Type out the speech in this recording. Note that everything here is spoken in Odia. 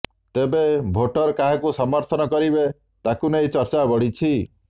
ତେବେ ଭୋଟର କାହାକୁ ସମର୍ଥନ କରିବେ ତାକୁ ନେଇ ଚର୍ଚ୍ଚା ବଢ଼ିଛି